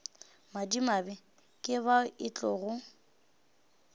madimabe ke bao e tlogo